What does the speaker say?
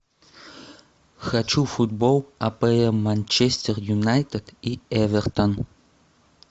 хочу футбол апл манчестер юнайтед и эвертон